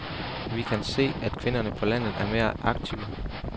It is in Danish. Vi kan se, at kvinderne på landet er meget aktive.